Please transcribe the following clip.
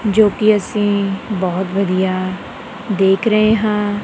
ਜੋ ਕੀ ਅੱਸੀ ਬੋਹੁਤ ਵਧੀਆ ਦੇਖ ਰਹੇਂ ਹਾਂ।